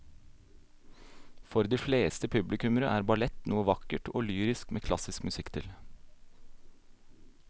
For de fleste publikummere er ballett noe vakkert og lyrisk med klassisk musikk til.